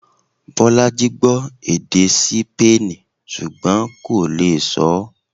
Bolaji gbọ́ èdè Sípéènì ṣùgbọ́n kò lè sọọ́